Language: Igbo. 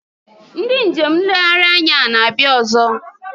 Ndị njem nlegharị anya a na-abịa ọzọ?